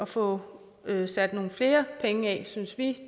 få sat nogle flere penge af